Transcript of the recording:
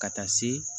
Ka taa se